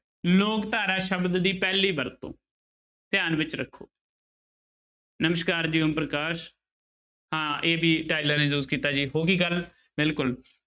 ਲੋਕ ਧਾਰਾ ਸ਼ਬਦ ਦੀ ਪਹਿਲੀ ਵਰਤੋਂ ਧਿਆਨ ਵਿੱਚ ਰੱਖੋ ਨਮਸ਼ਕਾਰ ਜੀ ਓਮਪ੍ਰਕਾਸ਼ ਹਾਂਂ AB ਟਾਇਲਰ ਨੇ use ਕੀਤਾ ਜੀ ਹੋ ਗਈ ਗੱਲ ਬਿਲਕੁਲ।